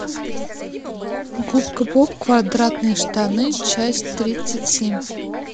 губка боб квадратные штаны часть тридцать семь